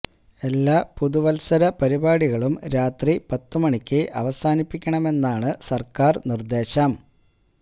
എല്ലാ പുതുവത്സര പരിപാടികളും രാത്രി പത്ത് മണിക്ക് അവസാനിപ്പിക്കണമെന്നാണ് സര്ക്കാര് നിര്ദേശം